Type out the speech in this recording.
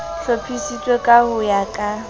hlophisitswe ka ho ya ka